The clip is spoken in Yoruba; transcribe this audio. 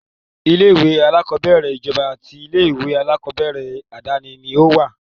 Ilé-ìwé aláàkọ́bẹ̀rẹ̀ ìjọba àti ilé-ìwé aláàkọ́bẹ̀rẹ̀ àdáni ni ó wà.